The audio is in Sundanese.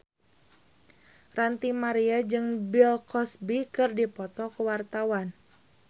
Ranty Maria jeung Bill Cosby keur dipoto ku wartawan